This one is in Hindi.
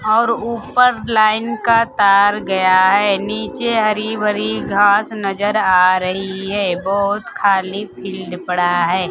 और ऊपर लाईन का तार गया है नीचे हरी भरी घास नजर आ रही है बहुत खाली फील्ड पड़ा है।